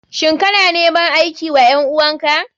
Shin kana neman aiki wa ƴan uwan ka?